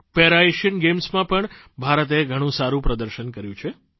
para Asian ગેમ્સમાં પણ ભારતે ઘણું સારૂં પ્રદર્શન કર્યું છે